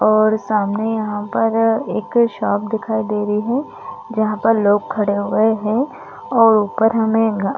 और सामने यहाँ पर एक शॉप दिखाई दे रही है जहाँ पर लोग खड़े हुए है और ऊपर हमें --